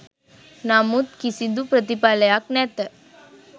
නමුත් කිසිදු ප්‍රතිඵලයක් නැත.